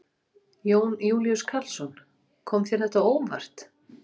Jón Júlíus Karlsson: Kom þér þetta á óvart?